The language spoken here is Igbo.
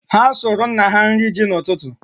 Ha sụrụ nna ha nri ji n'ụtụtụ.